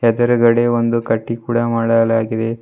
ಎದುರುಗಡೆ ಒಂದು ಕಟ್ಟಿ ಕೂಡ ಮಾಡಲಾಗಿದೆ.